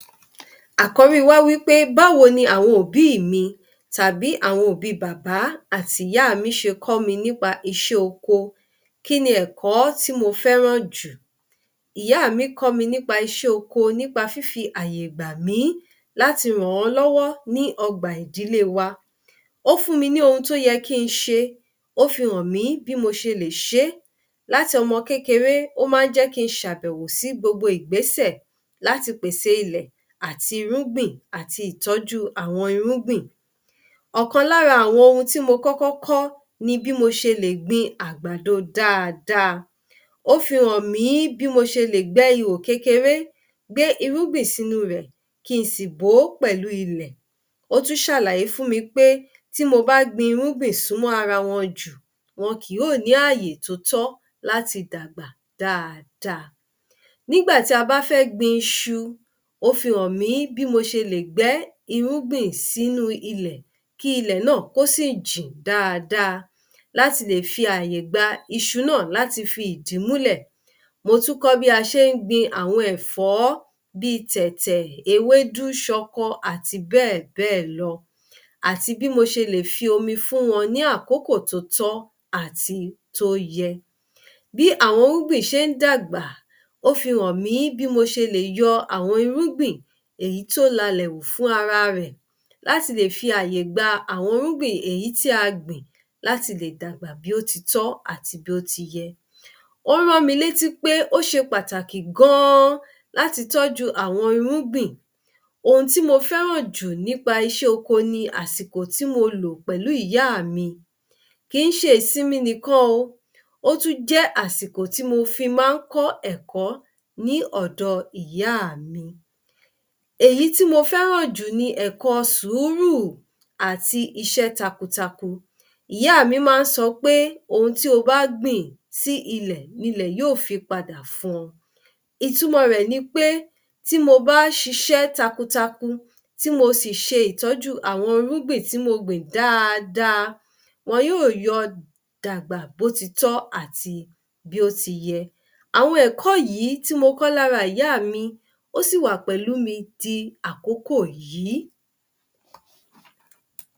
Akọ̀rí wa wípé báwo ni àwọn òbí mi tàbí àwọn òbí bàbá àtì ìyá mi ṣe kọ́ mi nípa iṣẹ́ oko, kíni ẹ̀kọ́ tí mo fẹ́ràn jù?. Ìyá mi kọ́ mi nípa iṣẹ́ oko nípa fífi àyè gbà mí láti rán wọ́n lọ́wọ́ ní ọgbà ìdílé wa. Ó fún mi ní ohun tó yẹ kín ṣe, ó fi hàn mìí bí mo ṣe lè ṣe é, láti ọmọ kékeré, ó ma ń jé kí n ṣàbẹ̀wò sí gbogbo ìgbésẹ̀ láti pèsè ilẹ̀ àti irúgbìn àti ìtọ́jú àwọn irúgbìn. ̣Ọ̀kan lára àwọn ohun tí mo kọ́kọ́ kọ́ ni bí mo ṣe lè gbin àgbàdo dáadáa. Ó fi hàn mìí bí mo ṣe lè gbẹ́ ìhò kékeré gbẹ́ irúgbìn sí nú rẹ̀ kín sì bòó pèlú ilẹ̀, ó tún ṣàlàyé fún mi pé tí mo bá gbin irúgbìn súnmọ́ ara wọn jù wọn kì yóò ní àyè tótọ́ láti dàgbà dáadáa. Nígbà tí a bá fẹ́ gbin iṣu, ó fi hàn mí bí mo ṣe lè gbẹ́ irúgbìn sínúu ilẹ̀ kí ilẹ̀ náà kò sì jìn dáadáa láti lè fi àyè gba iṣu náà láti fí ìdí mú’lè̀. Mo tún kọ́ bí a ṣe ń gbin àwọn ẹ̀fọ̀ọ́ bíi tẹ̀tẹ̀, ewédú ṣọkọ àti bẹ́ẹ̀bẹ́ẹ̀ lọ àti bí mo ṣe lè fi omi fún wọn ní àkókò tó tọ́ àti tó yẹ. Bí àwọn irúgbìn ṣe ń dàgbà, ó fi hàn mí bí mo ṣe lè yọ àwọn irúgbìn èyí tó la’lẹ̀ wù fún ara rẹ̀, láti lè fi àyè gba àwọn irúgbìn èyí tí a gbin lati lè dàgbà bí ó ti tọ́ àti bí ó ti yẹ. Ó rán mi létí pé ó ṣe pàtàkì gan-an láti tọ́jú àwọn irúgbìn. Ohun tí mo fẹ́ràn jù nípa iṣẹ́ oko ni àsìkò tí mo lò pẹ̀lú ìyá mi, kìí ṣe ìsinmi nìkan o, ó tún jẹ́ àsìkò tí mo fi má ń kọ́ ẹ̀kọ́ ní ọ̀dọ ìyá mi. Èyí tí mo fẹ́ràn jù ni ẹ̀kọ́ sùúrù àti isẹ́ takuntakun ìyá mi ma ń sọpé ohun tí o bá gbin sí ilẹ̀ ni ilẹ̀ yóò fi padà fún ọ, ìtumọ̀ rẹ̀ ni pé, tí mo bá sisẹ́ takuntakun tí mo ṣì ṣe ìtọ́jú àwọn irúgbìn tí mo gbìn dáadáa, wọn yóò yọ dàgbà bó ti tọ́ àti bí ó ti yẹ. Àwọn ẹ̀kọ́ yìí tí mo kọ́ lára ìyá mi, ó sì wà pẹ̀lú mi di àkókò yìí.